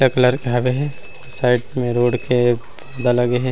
एक लड़का हवे साइड मे रोड के बगल में--